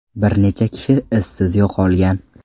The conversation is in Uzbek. Bir necha kishi izsiz yo‘qolgan.